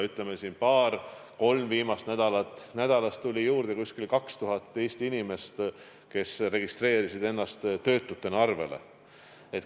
Aga paaril-kolmel viimasel nädalal on Eestis juurde tulnud umbes 2000 inimest, kes on registreerinud ennast töötutena.